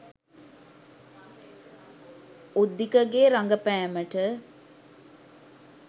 උද්දිකගේ රඟපෑමට